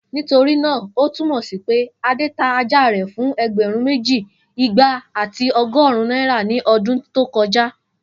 Nitorina o tumọ si pe Ade ta aja rẹ fun ẹgbẹrun meji, igba ati ọgọrun naira ni ọdun to koja?